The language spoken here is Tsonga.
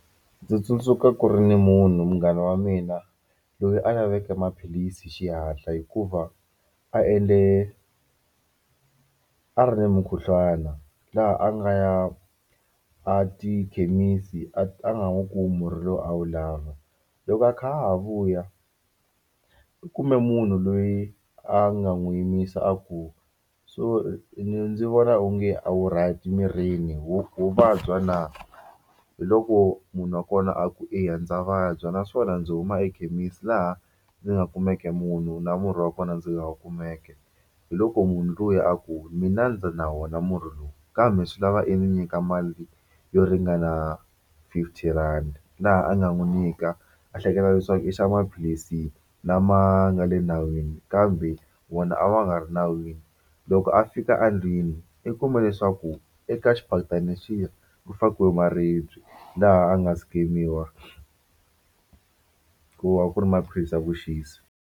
Ndzi tsundzuka ku ri ni munhu munghana wa mina loyi a laveke maphilisi hi xihatla hikuva a endle a ri ni mukhuhlwana laha a nga ya a tikhemisi a nga wu kumi murhi lowu a wu lava loko a kha a ha vuya u kume munhu loyi a nga n'wi yimisa a ku sorry ndzi vona onge a wu right mirini ho ho vabya na hi loko munhu wa kona a ku eya ndza vabya naswona ndzi huma ekhemisi laha ndzi nga kumeke munhu na murhi wa kona ndzi nga wu kumeke hi loko munhu luya a ku mina ndzi na wona murhi lowu kambe swi lava i ndzi nyika mali yo ringana fifty rand laha a nga n'wi nyika a hleketa leswaku i xava maphilisi lama nga le nawini kambe wona a ma nga ri nawini loko a fika endlwini i kume leswaku eka xiphaketana lexiya ku fakiwe maribye laha a nga skemiwa ku va ku ri maphilisi ya vuxisi.